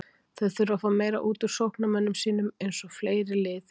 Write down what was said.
Þeir þurfa að fá meira útúr sóknarmönnum sínum, eins og fleiri lið í deildinni.